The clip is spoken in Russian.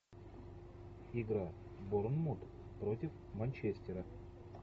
игра борнмут против манчестера